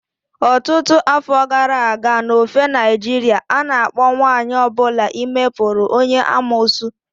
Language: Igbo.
Ọtụtụ afọ gara aga n'ofe Naịjirịa, a na-akpọ nwanyị ọ bụla ime putu onye amuosu